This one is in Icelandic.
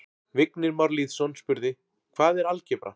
Vignir Már Lýðsson spurði: Hvað er algebra?